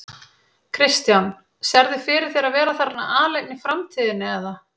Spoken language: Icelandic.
Kristján: Sérðu fyrir þér að vera þarna aleinn í framtíðinni eða?